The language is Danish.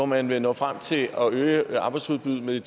man vil nå frem til at øge arbejdsudbuddet med